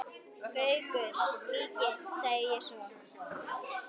Gaukur líkir, sagði ég loks.